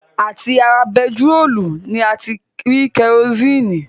À ti ara bentiróòlù ni a ti rí kerosini